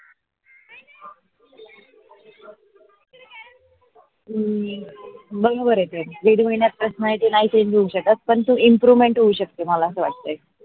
हम्म ते दीड महिन्यात personality नाही change हो शकत पण ते improvement होऊ शकते असे मला वाटते.